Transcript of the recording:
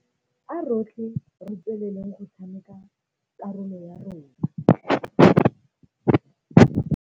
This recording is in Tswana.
A rotlhe re tsweleleng go tshameka karolo ya rona.